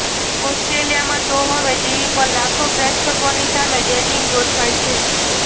ઓસ્ટ્રેલિયામાં તો હવે ટીવી પર લાખો પ્રેક્ષકોની સામે ડેટિંગ ગોઠવાય છે